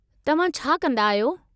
तव्हां छा कंदा आहियो?